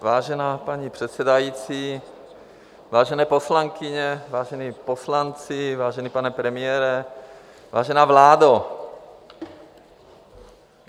Vážená paní předsedající, vážené poslankyně, vážení poslanci, vážený pane premiére, vážená vládo.